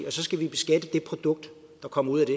og så skal vi beskatte det produkt der kommer ud af det